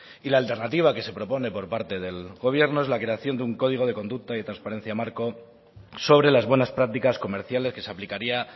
y la alternativa que se propone por parte del gobierno es la creación de un código de conducta y transparencia marco sobre las buenas prácticas comerciales que se aplicaría